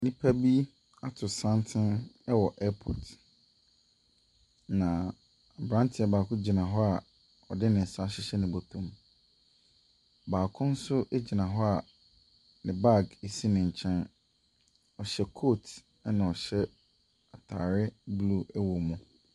Nnipa bi ato santene wɔ airport, na aberanteɛ baako gyina hɔ a ɔde ne nsa ahyehyɛ ne bɔtom. Baako nso gyina hɔ a ne bag si ne nkyɛn. Ɔhyɛ coat na ɔhyɛ atareɛ blue wɔ mu.